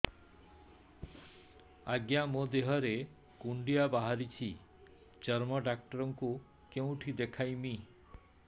ଆଜ୍ଞା ମୋ ଦେହ ରେ କୁଣ୍ଡିଆ ବାହାରିଛି ଚର୍ମ ଡାକ୍ତର ଙ୍କୁ କେଉଁଠି ଦେଖେଇମି